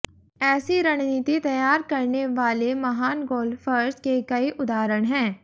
ऐसी रणनीति तैयार करने वाले महान गोल्फर्स के कई उदाहरण हैं